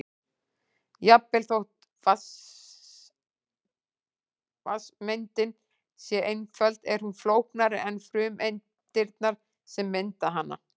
Jafnvel þótt vatnssameindin sé einföld er hún flóknari en frumeindirnar sem mynda hana.